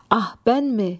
Ah bənmi?